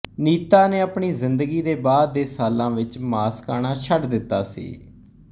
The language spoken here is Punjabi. ਨੀਤਾ ਨੇ ਆਪਣੀ ਜ਼ਿੰਦਗੀ ਦੇ ਬਾਅਦ ਦੇ ਸਾਲਾਂ ਵਿੱਚ ਮਾਸ ਖਾਣਾ ਛੱਡ ਦਿੱਤਾ ਸੀ